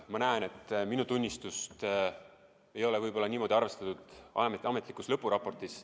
Ma näen, et minu tunnistust ei ole arvestatud ametlikus lõpuraportis.